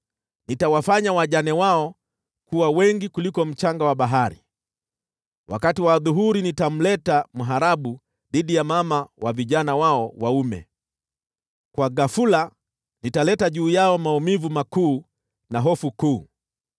Nitawafanya wajane wao kuwa wengi kuliko mchanga wa bahari. Wakati wa adhuhuri nitamleta mharabu dhidi ya mama wa vijana wao waume; kwa ghafula nitaleta juu yao maumivu makuu na hofu kuu.